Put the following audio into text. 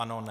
Ano - ne.